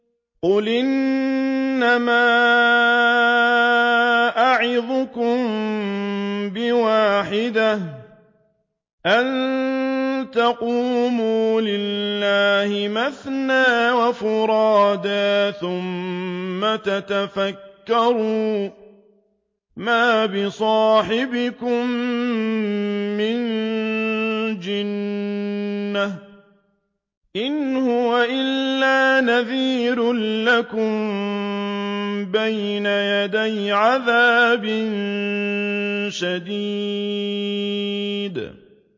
۞ قُلْ إِنَّمَا أَعِظُكُم بِوَاحِدَةٍ ۖ أَن تَقُومُوا لِلَّهِ مَثْنَىٰ وَفُرَادَىٰ ثُمَّ تَتَفَكَّرُوا ۚ مَا بِصَاحِبِكُم مِّن جِنَّةٍ ۚ إِنْ هُوَ إِلَّا نَذِيرٌ لَّكُم بَيْنَ يَدَيْ عَذَابٍ شَدِيدٍ